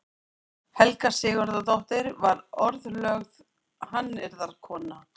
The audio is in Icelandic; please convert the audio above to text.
Helga Sigurðardóttir varð orðlögð hannyrðakona.